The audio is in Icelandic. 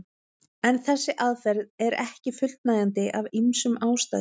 En þessi aðferð er ekki fullnægjandi af ýmsum ástæðum.